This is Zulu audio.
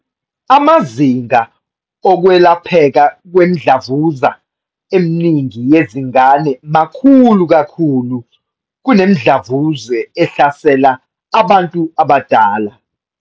"Amazinga okwelapheka kwemidlavuza eminingi yezingane makhulu kakhulu kunemidlavuza ehlasela abantu abadala."